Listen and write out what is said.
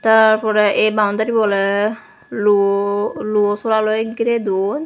tar porey ei boundarybu oley luu luosora loi girey don.